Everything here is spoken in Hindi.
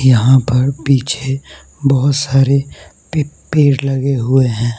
यहां पर पीछे बहुत सारे पे पेड़ लगे हुए हैं।